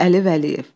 Əli Vəliyev.